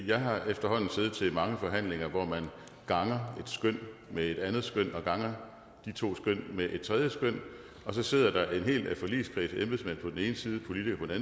jeg har efterhånden siddet til mange forhandlinger hvor man ganger skøn med et andet skøn og ganger de to skøn med et tredje skøn og så sidder der en hel forligskreds med embedsmænd på den ene side